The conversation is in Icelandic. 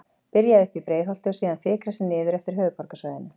Byrja uppi í Breiðholti og síðan fikra sig niður eftir höfuðborgarsvæðinu.